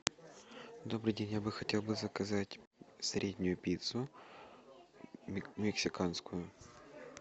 добрый день я бы хотел бы заказать среднюю пиццу мексиканскую